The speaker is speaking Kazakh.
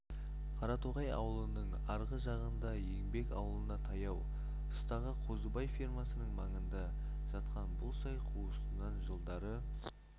қаратоғай ауылының арғы жағында еңбек ауылына таяу тұстағы қозыбай фермасының маңында жатқан бұл сай қуысынан жылдары